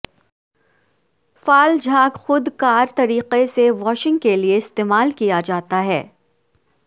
فعال جھاگ خود کار طریقے سے واشنگ کے لئے استعمال کیا جاتا ہے